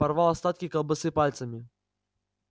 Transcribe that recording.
порвал остатки колбасы пальцами